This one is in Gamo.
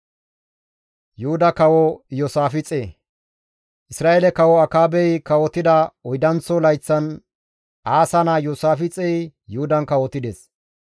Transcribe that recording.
Isra7eele kawo Akaabey kawotida oydanththo layththan Aasa naa Iyoosaafixey Yuhudan kawotides.